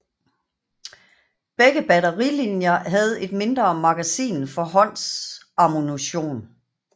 Begge batterilinier havde et mindre magasin for håndsammunition